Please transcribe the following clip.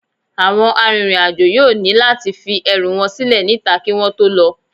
Àwọn arìnrìn-àjò yóò ní láti fi ẹrù wọn sílẹ̀ níta kí wọ́n tó lọ